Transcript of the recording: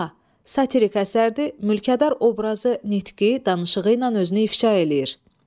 A. Satirik əsərdir, mülkədar obrazı nitqi, danışığı ilə özünü ifşa eləyir.